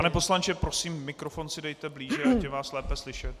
Pane poslanče, prosím, mikrofon si dejte blíže, ať je vás lépe slyšet.